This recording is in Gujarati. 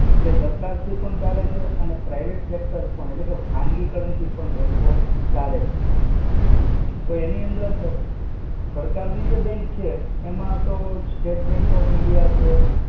એ સરકાર થી પણ ચાલે છે અને private sector પણ એટલે કે ખાનગી currency bank ચાલે છે. તો એની અંદર સરકાર ની જે bank છે, એમાં તો State Bank of India છે.